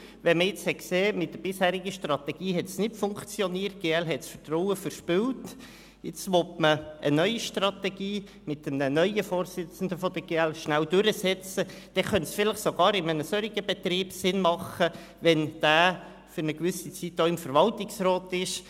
Wenn man gesehen hat, dass es mit der bisherigen Strategie nicht funktioniert und die GL das Vertrauen verspielt hat, und wenn man eine neue Strategie mit einem neuen Vorsitzenden der GL durchsetzen will, dann könnte es vielleicht sogar in einem solchen Betrieb sinnvoll sein, wenn dieser während einer gewissen Zeit im Verwaltungsrat sitzt.